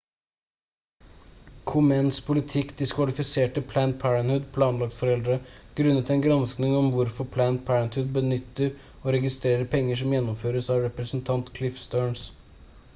komens politikk diskvalifiserte planned parenthood planlagt foreldre grunnet en gransking om hvordan planned parenthood benytter og registrerer penger som gjennomføres av representant cliff stearns